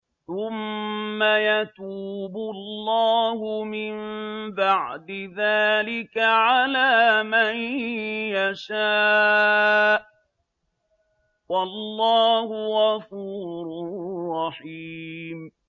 ثُمَّ يَتُوبُ اللَّهُ مِن بَعْدِ ذَٰلِكَ عَلَىٰ مَن يَشَاءُ ۗ وَاللَّهُ غَفُورٌ رَّحِيمٌ